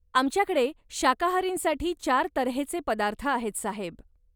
आमच्याकडे शाकाहारींसाठी चार तऱ्हेचे पदार्थ आहेत, साहेब.